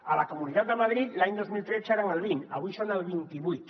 a la comunitat de madrid l’any dos mil tretze eren el vint avui són el vint i vuit